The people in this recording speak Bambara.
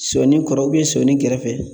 Sɔni kɔrɔ sɔni kɛrɛfɛ